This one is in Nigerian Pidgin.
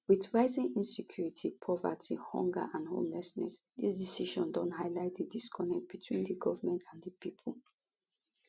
wit rising insecurity poverty hunger and homelessness dis decision don highlight di disconnect between di goment and di pipo